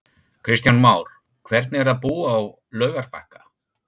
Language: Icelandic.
Kristján Már: Hvernig er að búa á Laugarbakka?